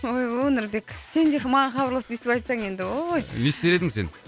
ойбой нұрбек сен де маған хабарласып өстіп айтсаң енді ой не істер едің сен